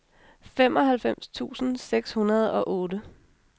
femoghalvfems tusind seks hundrede og otte